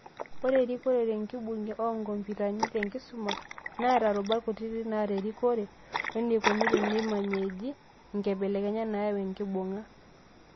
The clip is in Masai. Ore erikore tenkibung'e oonkompitani tenkisuma, neeta rubat kutitik naata erikore, weneikoni teneimajeeji inkibelekenyat naayau enkibung'a